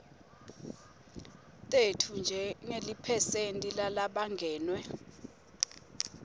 tetfu njengeliphesenti lalabangenwe